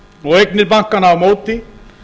og eignir bankanna á móti